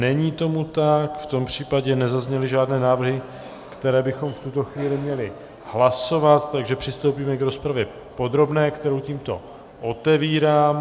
Není tomu tak, v tom případě nezazněly žádné návrhy, které bychom v tuto chvíli měli hlasovat, takže přistoupíme k rozpravě podrobné, kterou tímto otevírám.